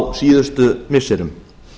á síðustu missirum